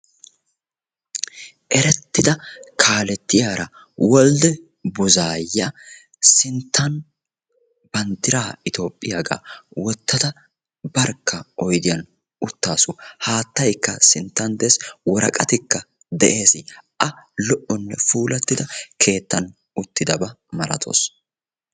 erettida kaalettiyara wolde buzuaya sintan bantiraa etiyoophiyaga wotada barkka utaasu. haattay sintan des, woraqatikka des. a lo'onne puulatida keettan uttidaba milatawusu.